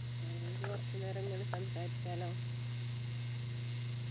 നമുക്ക് കുറച്ചു നേരം ഇങ്ങനെ സംസാരിച്ചാലോ